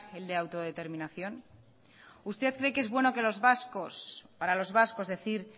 el de autodeterminación usted cree que es bueno que los vascos para los vascos decir